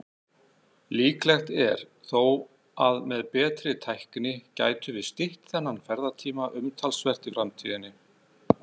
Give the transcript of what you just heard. Líklegt er þó að með betri tækni gætum við stytt þennan ferðatíma umtalsvert í framtíðinni.